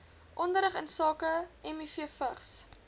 onderrig insake mivvigs